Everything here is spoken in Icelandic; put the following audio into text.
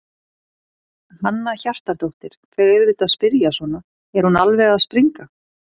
Hanna Hjartardóttir: Þau auðvitað spyrja svona, er hún alveg að springa?